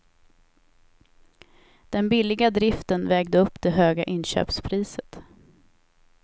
Den billiga driften vägde upp det höga inköpspriset.